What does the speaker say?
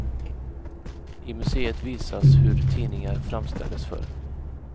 I museet visas hur tidningar framställdes förr.